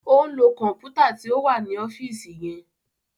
O n lo kọnputa tí o wá ọfiisi yẹn